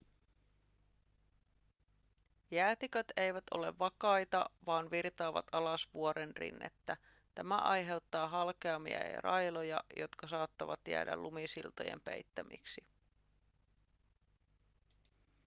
jäätiköt eivät ole vakaita vaan virtaavat alas vuorenrinnettä tämä aiheuttaa halkeamia ja railoja jotka saattavat jäädä lumisiltojen peittämiksi